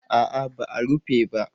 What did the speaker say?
A'a ba a rufe ba